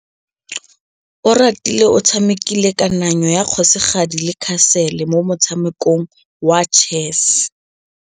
Oratile o tshamekile kananyô ya kgosigadi le khasêlê mo motshamekong wa chess.